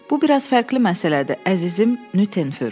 Bu biraz fərqli məsələdir, əzizim Nüttenfur.